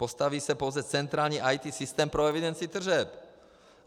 Postaví se pouze centrální IT systém pro evidenci tržeb.